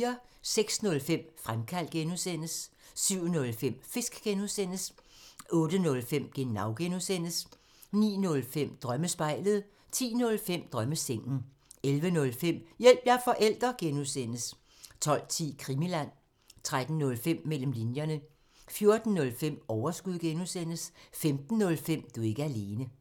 06:05: Fremkaldt (G) 07:05: Fisk (G) 08:05: Genau (G) 09:05: Drømmespejlet 10:05: Drømmesengen 11:05: Hjælp – jeg er forælder! (G) 12:10: Krimiland 13:05: Mellem linjerne 14:05: Overskud (G) 15:05: Du er ikke alene